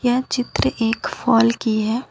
यह चित्र एक फॉल की है।